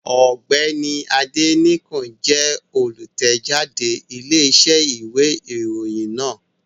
Ọ̀gbẹ́ni Adénẹ́kàn jẹ́ olùtẹ̀jáde Iléeṣẹ́ ìwé ìròyìn náà